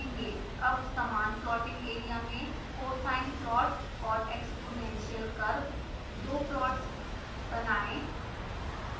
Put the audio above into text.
अब समान plotting area में cosine plot और exponential curve दो प्लॉट्स बनाएं